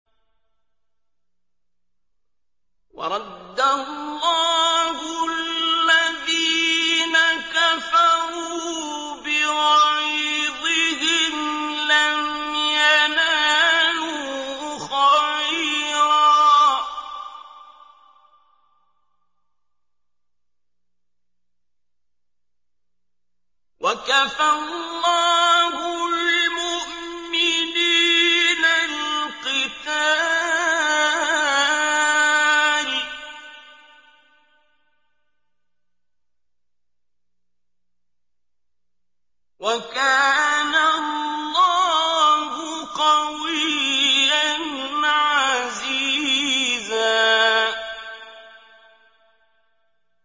وَرَدَّ اللَّهُ الَّذِينَ كَفَرُوا بِغَيْظِهِمْ لَمْ يَنَالُوا خَيْرًا ۚ وَكَفَى اللَّهُ الْمُؤْمِنِينَ الْقِتَالَ ۚ وَكَانَ اللَّهُ قَوِيًّا عَزِيزًا